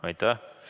Aitäh!